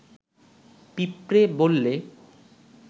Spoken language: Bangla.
পিঁপড়ে বললে